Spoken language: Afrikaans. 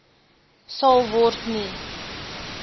sal word nie